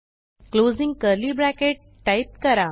closing curly bracket type करा